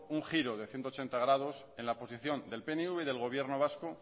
un giro de ciento ochenta grados en la posición del pnv y del gobierno vasco